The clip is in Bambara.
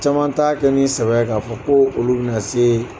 Caman t'a kɛ ni sɛbƐ ye k'a fɔ ko olu bƐ na se